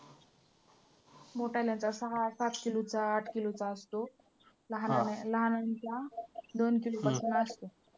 मोठ्यांना तर सहा सात किलोचा आठ किलोचा असतो. लहानांचा दोन किलोपासून असतो.